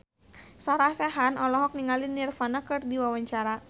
Sarah Sechan olohok ningali Nirvana keur diwawancara